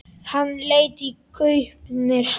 Hann leit í gaupnir sér.